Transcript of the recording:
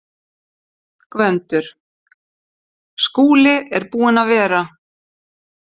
GVENDUR: Skúli er búinn að vera.